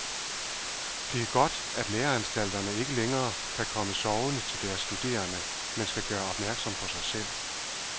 Det er godt, at læreanstalterne ikke længere kan komme sovende til deres studerende, men skal gøre opmærksom på sig selv.